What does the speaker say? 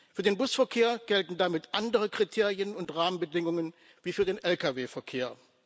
Für den Busverkehr gelten damit andere Kriterien und Rahmenbedingungen als für den Lkw Verkehr.